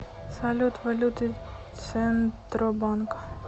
салют валюты центробанка